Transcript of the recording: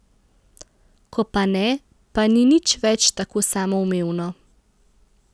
Ko pa ne, pa ni nič več tako samoumevno.